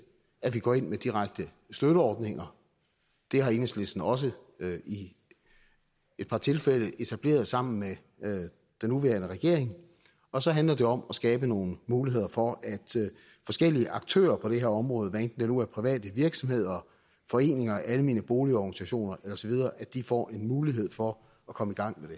at vi går ind med direkte støtteordninger det har enhedslisten også i et par tilfælde etableret sammen med den nuværende regering og så handler det om at skabe nogle muligheder for at forskellige aktører på det her område hvad enten det nu er private virksomheder foreninger almene boligorganisationer osv får en mulighed for at komme i gang